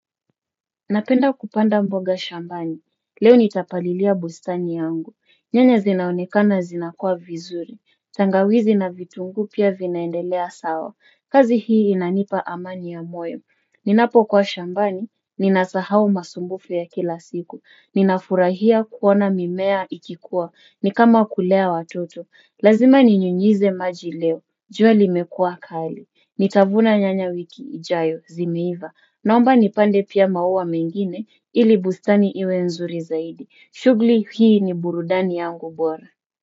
Napenda kupanda mboga shambani, leo nitapalilia bustani yangu, nyanya zinaonekana zinakua vizuri, tangawizi na vitunguu pia vinaendelea sawa, kazi hii inanipa amani ya moyo, ninapokuwa shambani, ninasahau masumbufu ya kila siku, ninafurahia kuona mimea ikikua, ni kama kulea watoto, lazima ninyunyize maji leo, jua limekuwa kali, nitavuna nyanya wiki ijayo, zimeiva, naomba nipande pia maua mengine ili bustani iwe nzuri zaidi. Shughuli hii ni burudani yangu bwara.